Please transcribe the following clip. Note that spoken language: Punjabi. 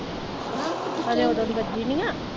ਅਜੇ ਓਦੋ ਦੀ ਵੱਜੀ ਨਹੀਂ ਆ।